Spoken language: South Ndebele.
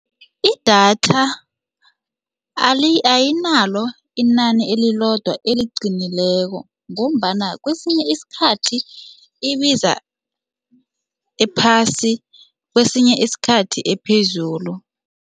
Idatha ayinalo inani elilodwa eliqinileko ngombana kwesinye iskhathi ibiza ephasi kwesinye isikhathi ephezulu.